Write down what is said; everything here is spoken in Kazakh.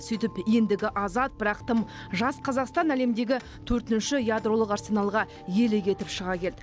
сөйтіп ендігі азат бірақ тым жас қазақстан әлемдегі төртінші ядролық арсеналға иелік етіп шыға келді